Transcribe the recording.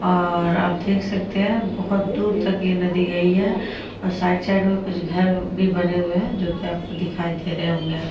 और आप देख सकते है। बहुत दूर तक यह नदी गई है और साइड साइड में कुछ घर भी बने हुए हैं जोकि आपको दिखाई दे रहे होंगे।